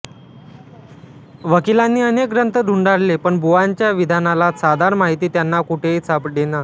वकिलांनी अनेक ग्रंथ धुंडाळले पण बुवांच्या विधानाला साधार माहिती त्यांना कुठेही सापडेना